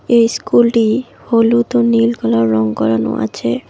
এই ইস্কুলটি হলুদ ও নীল কালার রং করানো আছে।